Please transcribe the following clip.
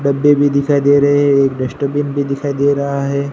Baby भी दिखाई दे रहे है एक डस्टबिन भी दिखाई दे रहा है।